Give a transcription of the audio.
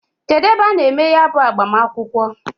Kedu ebe a na-eme ya bu agbamakwukwo?